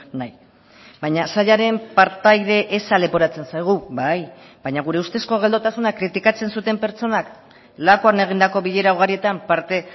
nahi baina sailaren partaide eza leporatzen zaigu bai baina gure ustezko geldotasuna kritikatzen zuten pertsonak lakuan egindako bilera ugarietan parte